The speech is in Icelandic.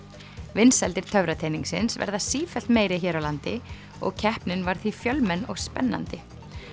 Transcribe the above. vinsældir verða sífellt meiri hér á landi og keppnin var því fjölmenn og spennandi